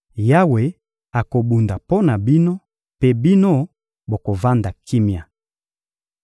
Yawe akobunda mpo na bino, mpe bino bovanda kimia.